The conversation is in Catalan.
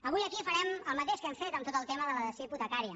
avui aquí farem el mateix que hem fet amb tot el tema de la dació hipotecària